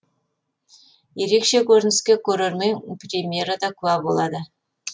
ерекше көрініске көрермен премьерада куә болады